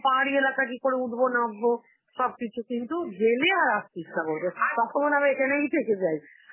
বাবা পাহাড়ি এলাকা, কি করে উঠবো না উঠবো সব কিছু, কিন্তু গেলে আর আসতে ইচ্ছা করবে ন~, তখন আমি এখানেই থেকে যাই.